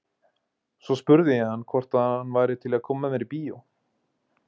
Svo spurði ég hann hvort hann væri til í að koma með mér í bíó.